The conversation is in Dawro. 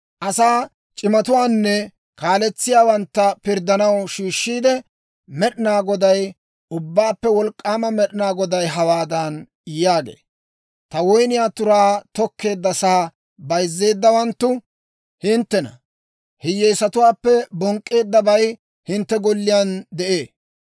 Asaa c'imatuwaanne kaaletsiyaawantta pirddanaw shiishiide, Med'inaa Goday, Ubbaappe Wolk'k'aama Med'inaa Goday hawaadan yaagee; «Ta woyniyaa turaa tokkeeddasaa bayzzeeddawanttu hinttena; hiyyeesatuwaappe bonk'k'eeddabay hintte golliyaan de'ee.